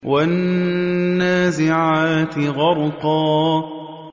وَالنَّازِعَاتِ غَرْقًا